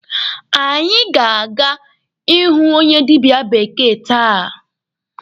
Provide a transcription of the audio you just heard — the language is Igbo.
Anyị aga aga ịhụ onye dịbịa bekee taa?